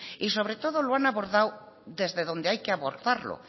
y sobre todos lo han abordado desde donde hay que abordarlo